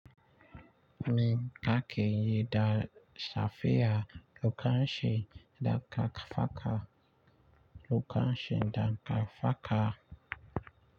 Mi kake yi da safiya lokacin da ka faka lokacin da ka faka.